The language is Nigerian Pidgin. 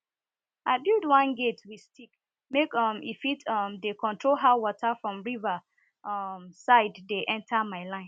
i build one gate with stick make um e fit um dey control how water from river um side dey enter my line